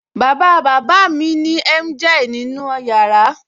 Bàbá bàbá mi ní emgyl nínú yàrá